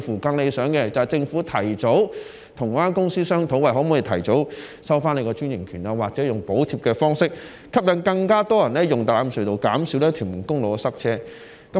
更理想的做法，是政府跟有關公司商討可否提早收回專營權，又或是透過補貼的方式，吸引更多人使用大欖隧道，減少屯門公路的塞車問題。